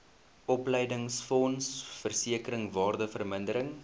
opleidingsfonds versekering waardevermindering